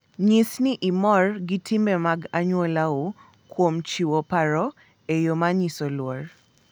Nyis ni imor gi timbe mag anyuolau kuom chiwo paro e yo manyiso luor.